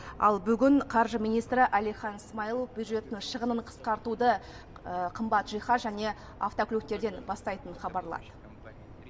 ал бүгін қаржы министрі әлихан смайылов бюджеттің шығынын қысқартуды қымбат жиһаз және автокөліктерден бастайтынын хабарлады